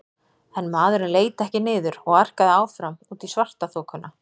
En maðurinn leit ekki niður og arkaði áfram út í svartaþokuna.